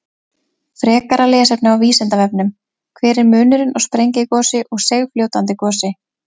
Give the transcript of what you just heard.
Frekara lesefni á Vísindavefnum: Hver er munurinn á sprengigosi og seigfljótandi gosi?